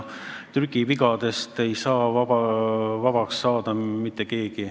Trükivigadest ei saa päris vabaks.